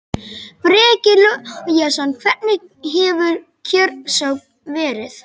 Breki Logason: Hvernig hefur kjörsókn verið?